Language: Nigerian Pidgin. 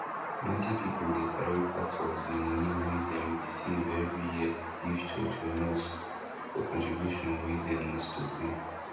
plenty people dey carry part of di moni wey dem dey save every year give church or mosque for contribution wey dem must to pay